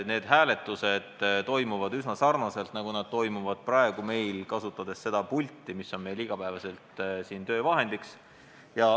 Teiseks, hääletused toimuvad üsna sarnaselt sellega, nagu need toimuvad praegugi, kasutades seda pulti, mis on meil siingi igapäevaseks töövahendiks.